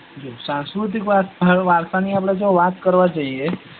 સાંસ્કૃતિક વારસા ની આપડે વાત કરવા જઈએ.